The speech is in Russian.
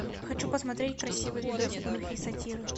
хочу посмотреть красивый видосик в духе сатиры